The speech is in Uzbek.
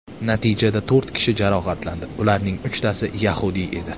Natijada to‘rt kishi jarohatlandi, ularning uchtasi yahudiy edi.